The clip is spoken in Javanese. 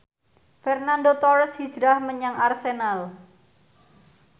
Fernando Torres hijrah menyang Arsenal